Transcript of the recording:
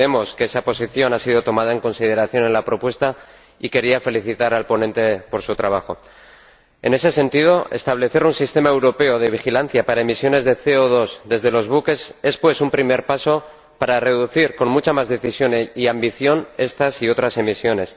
entendemos que esa posición ha sido tomada en consideración en la propuesta y quería felicitar al ponente por su trabajo. En ese sentido, establecer un sistema europeo de vigilancia para emisiones de CO2 desde los buques es, pues, un primer paso para reducir con mucha más decisión y ambición estas y otras emisiones.